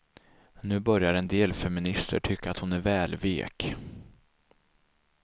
Nu börjar en del feminister tycka att hon är väl vek.